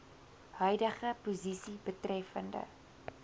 huidige posisie betreffende